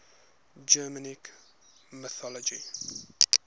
germanic mythology